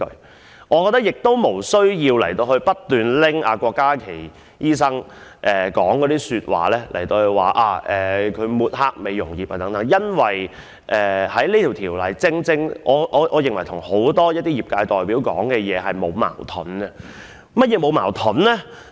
同時，我亦認為不需要不斷以郭家麒議員的發言來指責他抹黑美容業界，因為我認為《條例草案》與很多業界代表的發言沒有矛盾。